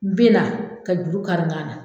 N benna ka juru kari n kan na